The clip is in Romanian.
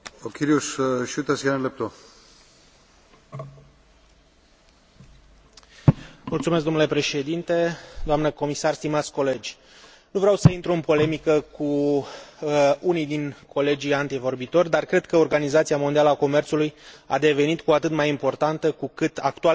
Domnule Președinte, doamnă comisar, stimați colegi, nu vreau să intru în polemică cu unii dintre colegii antevorbitori, dar cred că Organizația Mondială a Comerțului a devenit cu atât mai importantă cu cât actualele complexități ale mediului economic necesită o instituție multilaterală care să guverneze practicile comerciale.